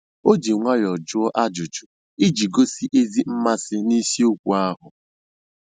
O ji nwayọọ jụọ ajụjụ iji gosi ezi mmasị nisiokwu ahụ